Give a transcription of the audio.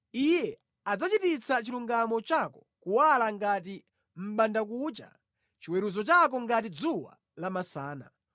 Iye adzachititsa chilungamo chako kuwala ngati mʼbandakucha, chiweruzo chako ngati dzuwa la masana.